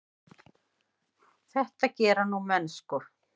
Þetta gera nú menn sko.